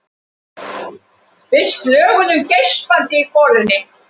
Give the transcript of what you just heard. Við slöguðum geispandi í golunni.